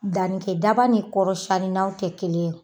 Dannikɛ daba ni kɔrɔsiyannina tɛ kelen ye.